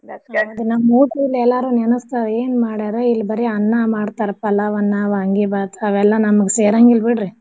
ನಮ್ ಊರ್ side ಎಲ್ಲಾರೂ ನೆನ್ಸ್ತಾರ ಏನ್ ಮಾಡ್ಯಾರ ಇಲ್ ಬರೆ ಅನ್ನಾ ಮಾಡ್ತಾರ್ ಪಲಾವ್ ಅನ್ನಾ, vangibath ಅವೆಲ್ಲ ನಮ್ಗ್ ಸೇರಂಗೀಲ್ ಬಿಡ್ರಿ.